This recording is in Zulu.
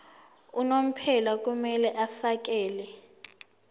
unomphela kumele afakele